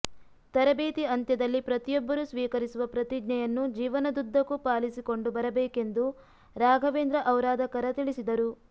ತರಬೇತಿ ಅಂತ್ಯದಲ್ಲಿ ಪ್ರತಿಯೊಬ್ಬರು ಸ್ವೀಕರಿಸುವ ಪ್ರತಿಜ್ಞೆಯನ್ನು ಜೀವನದುದ್ದಕೂ ಪಾಲಿಸಿಕೊಂಡು ಬರಬೇಕೆಂದು ರಾಘವೇಂದ್ರ ಔರಾದಕರ ತಿಳಿಸಿದರು